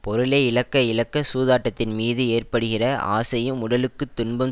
பொருளை இழக்க இழக்க சூதாட்டத்தின் மீது ஏற்படுகிற ஆசையும் உடலுக்கு துன்பம்